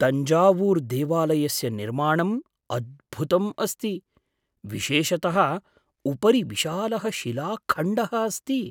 तञ्जावूर्देवालयस्य निर्माणम् अद्भुतम् अस्ति, विशेषतः उपरि विशालः शिलाखण्डः अस्ति।